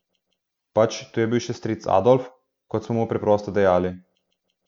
Pač, tu je bil še stric Adolf, kot smo mu preprosto dejali.